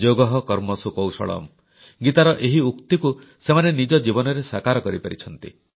ଯୋଗଃ କର୍ମସୁ କୌଶଳମ୍ ଗୀତାର ଏହି ଉକ୍ତିକୁ ସେମାନେ ନିଜ ଜୀବନରେ ସାକାର କରିପାରିଛନ୍ତି